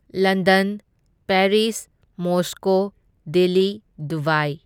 London, Paris, Moscow, Delhi, Dubai.